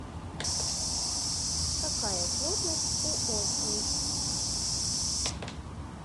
какая плотность у осмий